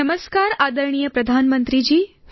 નમસ્કાર આદરણીય પ્રધાનમંત્રી જી